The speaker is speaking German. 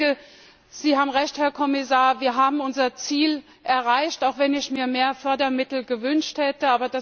Ich denke, Sie haben Recht, Herr Kommissar, wir haben unser Ziel erreicht, auch wenn ich mehr Fördermittel gewünscht hätte.